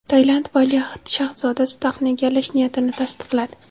Tailand valiahd shahzodasi taxtni egallash niyatini tasdiqladi.